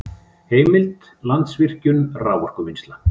Heimild: Landsvirkjun- raforkuvinnsla